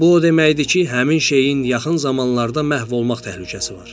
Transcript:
Bu o deməkdir ki, həmin şeyin yaxın zamanlarda məhv olmaq təhlükəsi var.